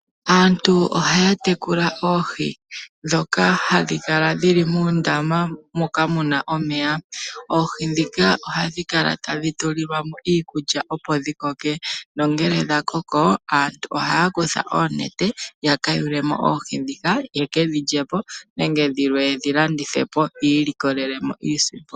Aantu ohaya tekula oohi ndhoka hadhi kala dhili muundama moka muna omeya. Oohi ndhika ohadhi kala tadhi tulilwamo iikulya opo dhi koke nongele dha koko aantu ohaya kutha oonete yaka yulemo oohi ndhika ye kedhi lyepo nenge dhimwe yedhi landithepo yi ilikolele iisimpo.